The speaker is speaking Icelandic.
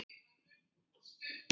Nei, engar deilur.